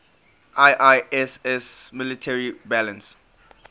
iiss military balance